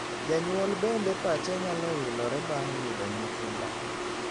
Janyuol bende pache nyalo wilore bang' yudo nyithindo.